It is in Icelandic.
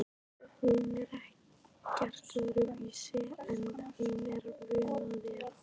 Hún er ekkert öðruvísi en hún er vön að vera